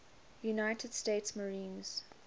united states marines